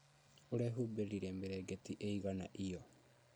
ũrehumbĩrire mĩrĩngĩti ĩigana iyo?